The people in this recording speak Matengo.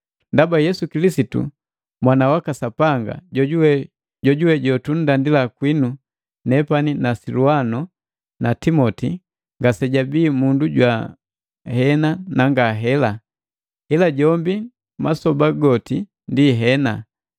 Ndaba Yesu Kilisitu Mwana waka Sapanga, jojuwe jotunndandila kwinu nepani na Silwano na Timoti, ngasejabii mundu jwa, “Hena” na “Ngahela,” ila jombi masoba goti ndi “Hena.”